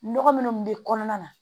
Nɔgɔ minnu bɛ kɔnɔna na